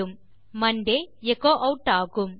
பின் மாண்டே எச்சோ ஆட் ஆகும்